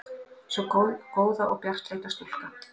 Sú góða og bjartleita stúlka.